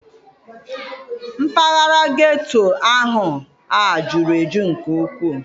Mpaghara geto ahụ a juru eju nke ukwuu.